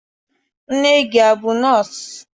Nne gị abụ nọọsụ?